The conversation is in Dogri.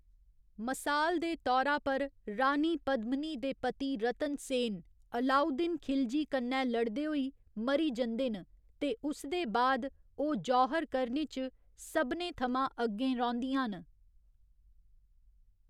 मसाल दे तौरा पर रानी पद्मिनी दे पति रतन सेन, अलाउद्दीन खिलजी कन्नै लड़दे होई मरी जंदे न, ते उसदे बाद ओह् जौहर करने च सभनें थमां अग्गें रौंह्दियां न।